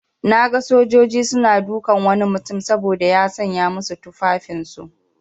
Naga sojaji suna dukan wani mutum saboda ya sanya musu tufan aiki.